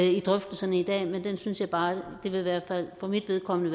i drøftelserne i dag men den synes jeg bare det i hvert fald for mit vedkommende